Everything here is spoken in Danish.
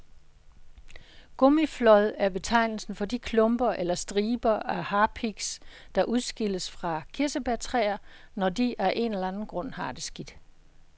Gummiflåd er betegnelsen for de klumper eller striber af harpiks, der udskilles fra kirsebærtræer, når de af en eller anden grund har det skidt.